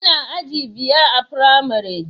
Ina aji biyar a firamare